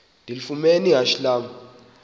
ndilifumene ihashe lam